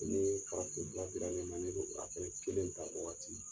Ni farafin dira ne ma ne bo a fɛnɛ kelen ta o waati.